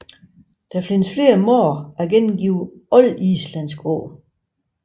Der findes flere måder at gengive oldislandsk på